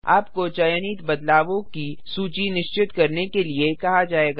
आपको चयनित बदलावों की सूची निश्चित करने के लिए कहा जायेगा